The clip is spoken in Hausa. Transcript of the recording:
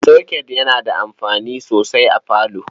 Soket yana taimakawa sosai a parlour.